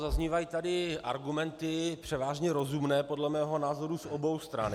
Zaznívají tady argumenty převážně rozumné podle mého názoru z obou stran.